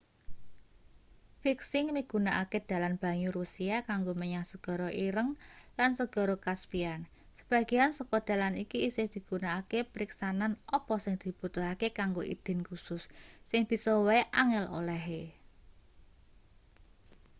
viking migunakake dalan banyu russia kanggo menyang segara ireng lan segara caspian sebagean saka dalan iki isih digunakake periksanen apa sing dibutuhake kanggo idin kusus sing bisa wae angel olehe